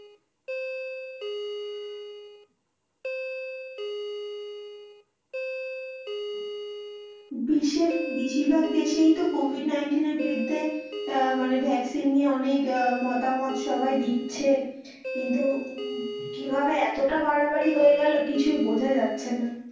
বিশ্বের বেশিরভাগ দেশেই তো COVID nineteen এর বিরুদ্ধে মানে vaccine নিয়ে অনেক মতামত সবাই দিচ্ছে কিন্তু কিভাবে এতটা বাড়াবাড়ি হয়ে গেলো কিছুই বোঝা যাচ্ছে না।